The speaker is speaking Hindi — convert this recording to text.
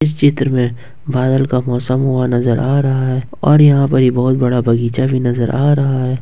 चित्र में बादल का मौसम हुआ नजर आ रहा है और यहां पर एक बहुत बड़ा बगीचा नजर आ रहा है।